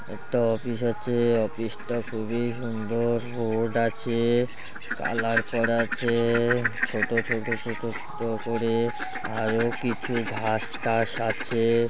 একটা অফিস আছে-এ। অফিস -টা খুবই সুন্দর। রোড আছে-এ কালার করা আছে-এ। ছোট ছোট ছোট ক করে আরো কিছু ঘাস টাস আছে-এ।